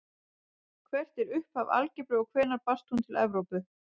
Hvert er upphaf algebru og hvenær barst hún til Evrópu?